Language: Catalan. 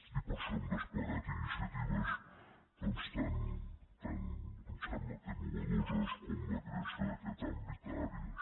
i per això hem desplegat iniciatives tan em sembla que innovadores com la creació d’aquest àmbit d’àrees